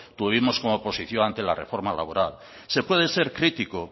tuvimos como oposición ante la reforma laboral se puede ser crítico